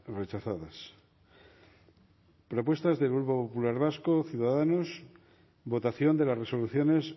rechazadas propuestas del grupo popular vasco ciudadanos votación de las resoluciones